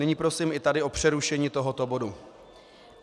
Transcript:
Nyní prosím i tady o přerušení tohoto bodu.